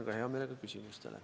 Vastan hea meelega ka küsimustele.